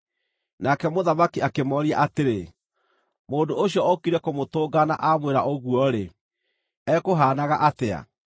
Nake mũthamaki akĩmooria atĩrĩ, “Mũndũ ũcio ũũkire kũmũtũnga na aamwĩra ũguo-rĩ, ekũhaanaga atĩa?”